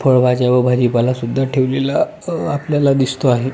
फळभाज्या व भाजी पाला सुद्धा ठेवलेला या आपल्याला दिसतो आहे.